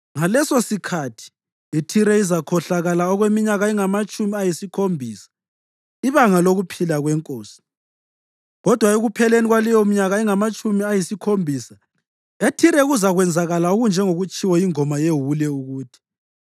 Ngalesosikhathi iThire izakhohlakala okweminyaka engamatshumi ayisikhombisa, ibanga lokuphila kwenkosi. Kodwa ekupheleni kwaleyominyaka engamatshumi ayisikhombisa, eThire kuzakwenzakala okunjengokutshiwo yingoma yewule ukuthi: